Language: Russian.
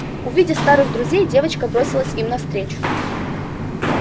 увидев старых друзей девочка бросилась им навстречу